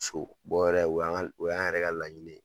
So yɛrɛ o y'an ka o y'an yɛrɛ ka laɲini ye.